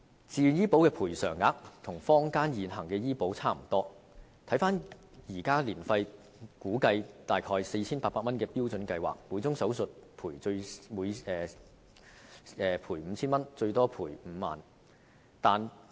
自願醫保的賠償額與坊間現行的醫保差不多，以現時年費估計約 4,800 元的標準計劃來說，每宗手術賠款 5,000 元，最高賠款5萬元。